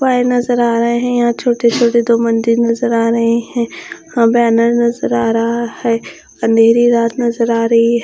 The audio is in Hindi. नजर आ रहे हैं। यहां छोटे छोटे दो मंदिर नजर आ रहे हैं। यहां बैनर नजर आ रहा है। अंधेरी रात नजर आ रही है।